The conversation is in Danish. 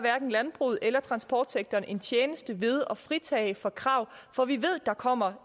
landbruget eller transportsektoren en tjeneste ved at fritage for krav for vi ved der kommer